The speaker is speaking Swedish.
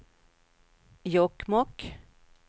Jokkmokk